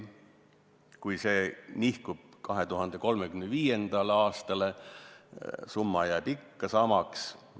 Kui see nihkub 2035. aastale, jääb summa ikka samaks.